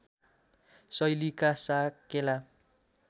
शैलीका साकेला